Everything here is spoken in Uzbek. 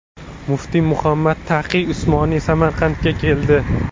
Muftiy Muhammad Taqiy Usmoniy Samarqandga keldi .